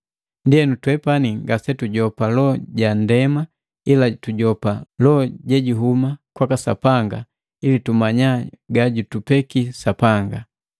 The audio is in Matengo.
Ndienu twepani ngasetujopa Loho ja ndema ila tujopa Loho jojuhuma kwaka Sapanga ili tumanya gajutupeki Sapanga.